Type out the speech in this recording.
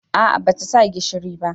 A'a ba ta sa gishiri ba